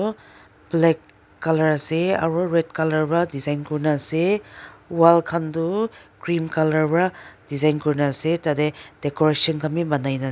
aru black colour ase aru red colour va design kurina ase wall khan toh cream colour va design kurina ase tate decoration khan bi banaina.